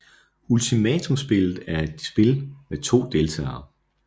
Ultimatumspillet er et spil med to deltagere